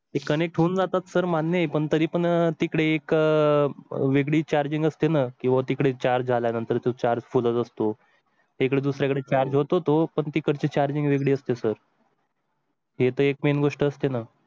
connect होऊन जातात sir मान्य पण तरी पण अह तिकडे एक अह वेगळी charging असते ना? किंवा तिकडे charge झाल्यानंतर चार फुलं असतो एक दुसऱ्याकडे charge, पण तिकडचे charging वेगळी असते सर. येतो एक मेन गोष्ट असते ना.